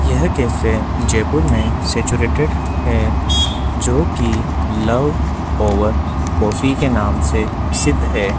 यह कैफे जयपुर में सैचुरेटेड है जोकि लव ओवर कॉफी के नाम से सिद्ध है।